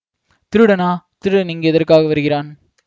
திருடனா திருடன் இங்கு எதற்காக வருகிறான்